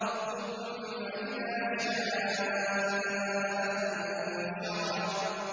ثُمَّ إِذَا شَاءَ أَنشَرَهُ